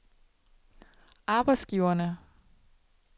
arbejdsgiverne